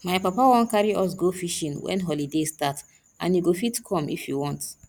my papa wan carry us go fishing wen holiday start and you go fit come if you want